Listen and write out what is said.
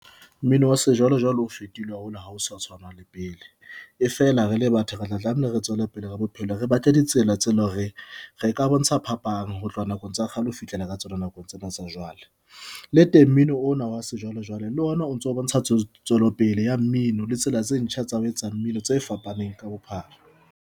Mmino wa sejwalejwale o fetohile haholo ha o sa tshwana le wa pele e fela re le batho re tla tlameile re tswele pele ka bophelo. Re batle ditsela tse leng hore re ka bontsha phapang ho tloha nakong tsa kgale ho fihlela ka tsona nakong tsena tsa jwale. Le teng mmino ona wa sejwalejwale le ona o ntso bontsha tswelopele ya mmino le tsela tse ntjha tsa ho etsa mmino tse fapaneng ka bophara.